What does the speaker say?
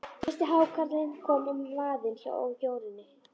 Fyrsti hákarlinn kom á vaðinn hjá Jórunni.